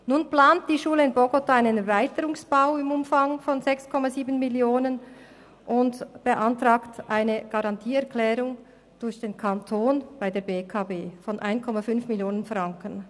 Nun plant die Schule in Bogotá einen Erweiterungsbau im Umfang von 6,7 Mio. Franken und beantragt eine Garantieerklärung durch den Kanton bei der BEKB von 1,5 Mio. Franken.